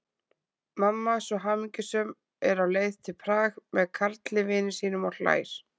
Mamma svo hamingjusöm, er á leið til Prag með Karli vini sínum, og hlær.